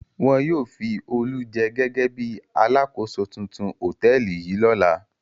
Wọn yóò fi Olú jẹ gẹ́gẹ́ bí alákòóso tuntun hòtẹ́ẹ́lì yìí lọ́la.